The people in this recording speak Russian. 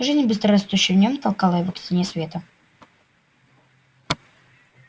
жизнь быстро растущая в нём толкала его к стене света